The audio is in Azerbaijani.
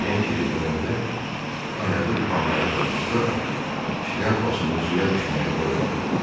Ejen geri dönəndə ayağı vannaya dolaşsa da, şlyapasını suya düşməyə qoymadı.